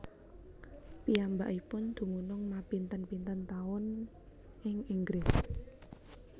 Piyambakipun dumunung mapinten pinten taun ing Inggris